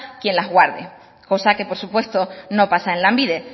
quien las guarde cosa que por supuesto no pasa en lanbide